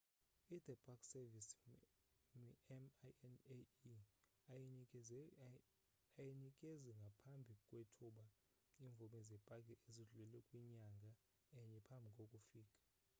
i the park service minae ayinikezi ngaphambi kwethuba imvume zepaki ezidlula kwinyanga enye phambi kokufika